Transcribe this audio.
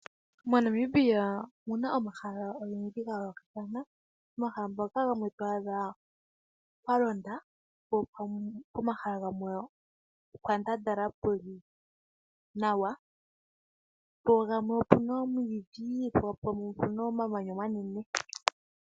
MoNamibia omu na omahala ogendji ga yoolokathana. Omahala mpoka to adha pwa londa po pomahala gamwe opwa ndandala pu li nawa, pugamwe opu na omwiidhi nenge omamanya omanene.